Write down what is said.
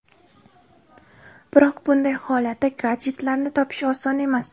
Biroq bunday holatda gadjetlarni topish oson emas.